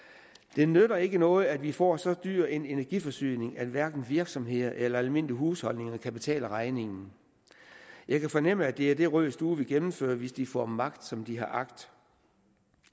det nytter ikke noget at vi får så dyr en energiforsyning at hverken virksomheder eller almindelige husholdninger kan betale regningen jeg kan fornemme at det er det rød stue vil gennemføre hvis de får magt som de har agt